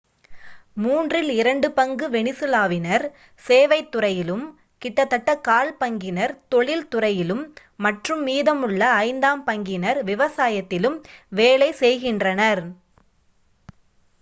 மூன்றில் இரண்டு பங்கு வெனிசுலாவினர் சேவைத் துறையிலும் கிட்டதட்ட கால் பங்கினர் தொழில்துறையிலும் மற்றும் மீதமுள்ள ஐந்தாம் பங்கினர் விவசாயத்திலும் வேலை செய்கின்றனர்